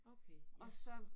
Okay. Ja